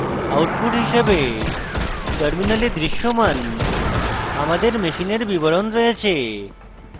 output হিসাবে terminal দৃশ্যমান আমাদের machine বিবরণ রয়েছে